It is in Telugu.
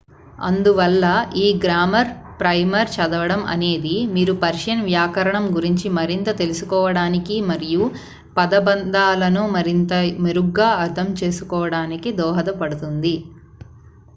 అందువల్ల ఈ గ్రామర్ ప్రైమర్ చదవడం అనేది మీరు పర్షియన్ వ్యాకరణం గురించి మరింత తెలుసుకోవడానికి మరియు పదబంధాలను మరింత మెరుగ్గా అర్థం చేసుకోవడానికి దోహదపడుతుంది